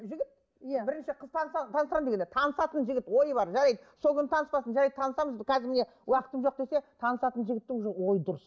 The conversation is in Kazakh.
жігіт иә бірінші қыз таныса танысамын дегенде танысатын жігіт ойы бар жарайды сол күні таныспасын жарайды танысамыз қазір міне уақытым жоқ десе танысатын жігіттің ойы дұрыс